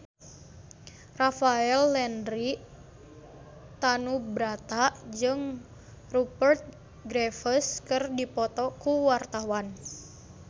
Rafael Landry Tanubrata jeung Rupert Graves keur dipoto ku wartawan